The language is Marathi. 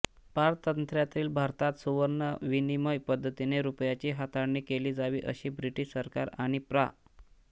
पारतंत्र्यातील भारतात सुवर्ण विनिमय पद्धतीने रुपयाची हाताळणी केली जावी असे ब्रिटिश सरकार आणि प्रा